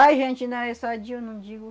A gente ainda é sadio, não digo